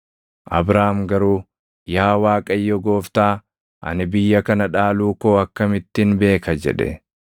Abraam garuu, “Yaa Waaqayyoo Gooftaa, ani biyya kana dhaaluu koo akkamittin beeka?” jedhe.